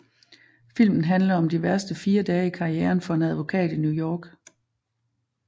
Filmen handler om de værste fire dage i karrieren for en advokat i New York